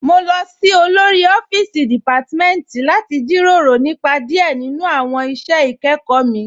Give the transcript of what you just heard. Mo lọ sí òlórí ọ̀fíìsí deṣémitì láti jíró rọ̀ nípa díẹ̀ nínu awọn iṣẹ́ ikẹkọ mi